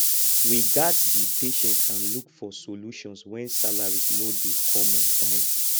we gats be patient and look for solutions wen salaries no dey come on time